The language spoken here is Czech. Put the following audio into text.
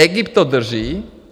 Egypt to drží.